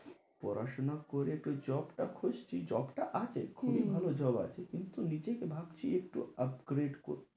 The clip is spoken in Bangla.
পড়াশোনা করে একটু job টা খুঁজছি, job টা আছে, খুবই ভালো job আছে। কিন্তু নিজেকে ভাবছি একটু upgrade করব।